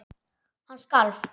Hann skalf.